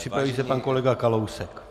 Připraví se pan kolega Kalousek.